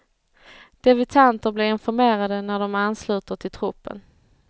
Debutanter blir informerade när de ansluter till truppen.